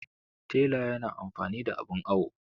tela yana amfani da abin awo